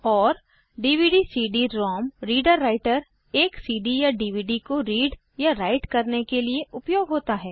और dvdcd ROM reader writer एक CD या डीवीडी को रीड या राइट करने के लिए उपयोग होता है